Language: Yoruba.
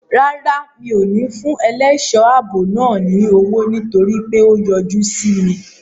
Rárá, mi ò ní fún ẹlẹ́ṣọ̀ ààbò náà ní owó nítorí pé ó yájú sí mi.